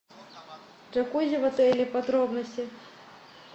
джакузи в отеле подробности